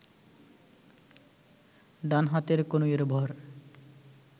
ডান হাতের কনুইয়ের ভর